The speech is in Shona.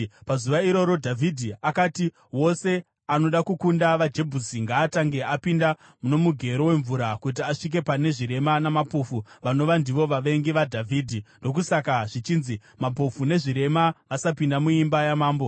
Pazuva iro, Dhavhidhi akati, “Wose anoda kukunda vaJebhusi ngaatange apinda nomugero wemvura kuti asvike pane ‘zvirema namapofu’ vanova ndivo vavengi vaDhavhidhi.” Ndokusaka zvichinzi, “ ‘Mapofu nezvirema’ vasapinda muimba yaMambo.”